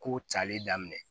Kow calen daminɛ